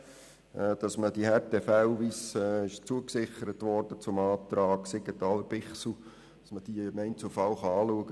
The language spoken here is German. Sie unterstützt, dass man Härtefälle im Einzelfall anschauen kann, wie es im Zusammenhang mit dem Antrag Bichsel zugesichert wurde.